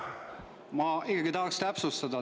Ma ikkagi tahaksin täpsustada.